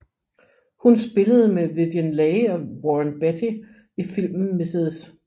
Hun spillede med Vivien Leigh og Warren Beatty i filmen Mrs